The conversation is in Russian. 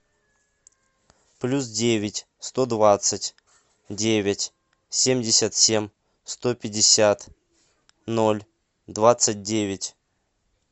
плюс девять сто двадцать девять семьдесят семь сто пятьдесят ноль двадцать девять